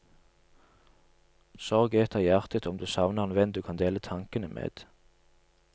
Sorg eter hjertet om du savner en venn du kan dele tankene med.